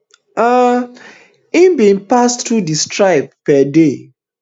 um im bin pass through di strait per day